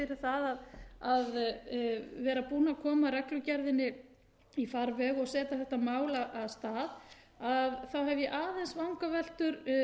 það að vera búinn að koma reglugerðinni í farveg og setja þetta mál af stað hef ég aðeins vangaveltur